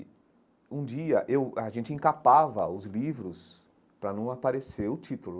E, um dia, eu a gente encapava os livros para não aparecer o título.